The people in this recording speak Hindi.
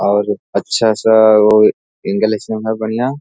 और अच्छा सा वो इंग्लिश में है बढ़िया।